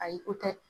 Ayi ko tɛ